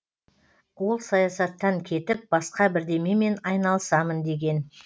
ол саясаттан кетіп басқа бірдемемен айналысамын деген